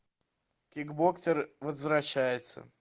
кикбоксер возвращается